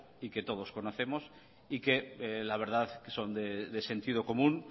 y que todos conocemos y que la verdad son de sentido común